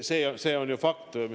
See on ju fakt.